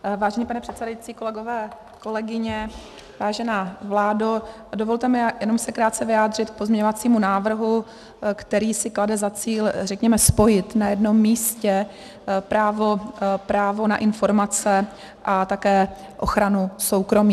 Vážený pane předsedající, kolegové, kolegyně, vážená vládo, dovolte mi se jenom krátce vyjádřit k pozměňovacímu návrhu, který si klade za cíl řekněme spojit na jednom místě právo na informace a také ochranu soukromí.